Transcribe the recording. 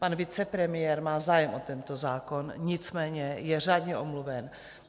Pan vicepremiér má zájem o tento zákon, nicméně je řádně omluven.